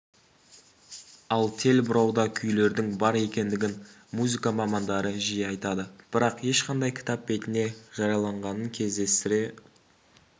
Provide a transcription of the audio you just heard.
ал тел бұрауда күйлердің бар екендігін музыка мамандары жиі айтады бірақ ешқандай кітап бетіне жарияланғанын кездестіре